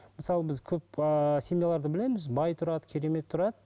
мысалы біз көп ыыы семьяларды білеміз бай тұрады керемет тұрады